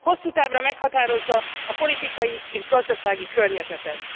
Hosszú távra meghatározza a politikai és gazdasági környezetet.